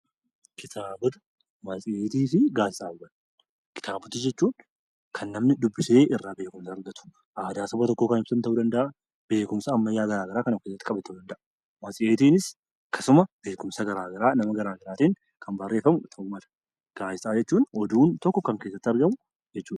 Kitaabota jechuun kan namni dubbisee irraa beekumsa argatu; aadaa saba tokkoo kan ibsu ta'uu danda'a; beekumsa ammayyaa garaa garaa kan of keessatti qabate ta'uu danda'a. Matseetiinis akkasuma beekumsa garaa garaa nama garaa garaatiin kan barreeffamu ta'uu mala. Gaazexaawwan jechuun oduu yookiin odeeffannoo kan keessatti argamu ta'uu danda'a.